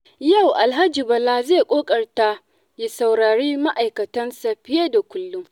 Yau Alhaji Bala zai ƙoƙarta ya saurari ma’aikatansa fiye da kullum.